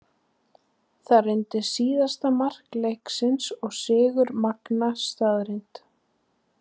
Það reyndist síðasta mark leiksins og sigur Magna staðreynd.